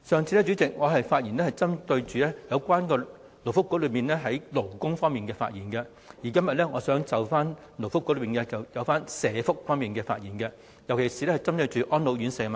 主席，我上次發言是針對勞工及福利局有關勞工方面的問題，而今天我想就該局有關社福方面的問題發言，尤其是安老院舍的問題。